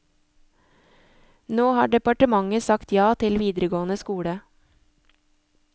Nå har departementet sagt ja til videregående skole.